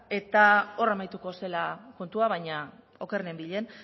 eta hor amaituko zela kontua baina oker nenbilen